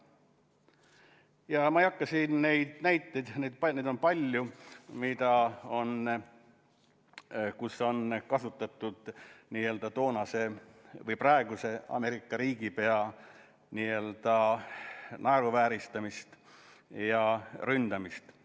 Ma ei hakka siin tooma neid paljusid näiteid, kus praegust Ameerika riigipead on naeruvääristatud ja rünnatud.